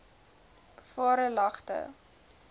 varelagte